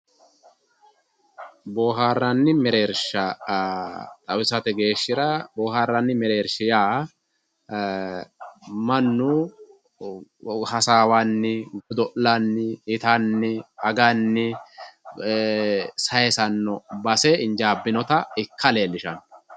Boharanni merersha xawisate geshira boharanni merersha ya ee manu hasawanni godolanni itanni aganni ee sayisano base injabinota ika lelishano